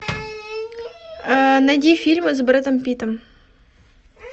найди фильмы с брэдом питтом